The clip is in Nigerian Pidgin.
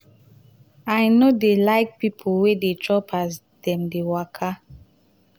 i no dey like pipo wey dey chop as dem dey waka.